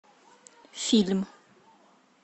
фильм